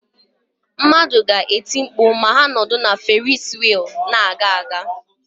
Mmadụ ga-eti mkpu ma ha nọdụ na Ferisi wịịlụ na-aga aga.